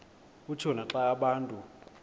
kutshiwo naxa abantu